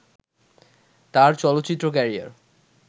তার চলচ্চিত্র ক্যারিয়ার